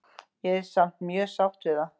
Ég er samt mjög sátt við það.